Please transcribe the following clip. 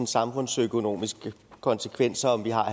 samfundsøkonomiske konsekvenser om vi har